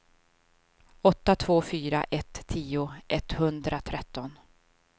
åtta två fyra ett tio etthundratretton